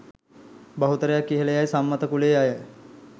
බහුතරයක් ඉහල යැයි සම්මත කුලයේ අය.